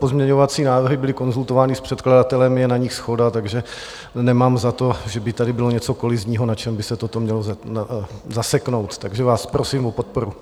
Pozměňovací návrhy byly konzultovány s předkladatelem, je na nich shoda, takže nemám za to, že by tady bylo něco kolizního, na čem by se toto mělo zaseknout, takže vás prosím o podporu.